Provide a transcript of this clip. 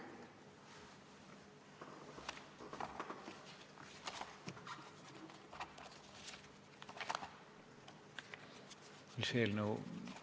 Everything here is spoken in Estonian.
Mis eelnõu?